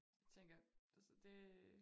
Tænker altså det